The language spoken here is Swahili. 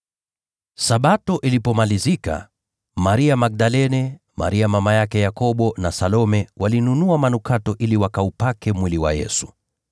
Sabato ilipomalizika, Maria Magdalene, Maria mama yake Yakobo, na Salome walinunua manukato ili wakaupake mwili wa Yesu.